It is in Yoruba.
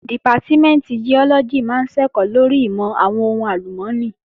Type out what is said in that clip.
Dìpátímẹ̀ntì Giọ́lọ́gì máa ń ṣẹ̀kọ́ lórí ìmọ̀ àwọn ohùn àlùmọ́nì